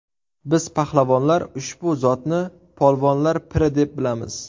Biz pahlavonlar ushbu zotni polvonlar piri deb bilamiz.